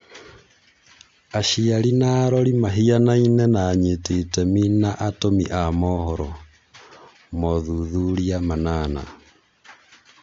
Aciari na arori mahianaine na anyiti itemi na atũmi a mohoro (mothuthuria manana)